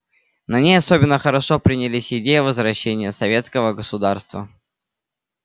на ней особенно хорошо принялись идеи возрождения советского государства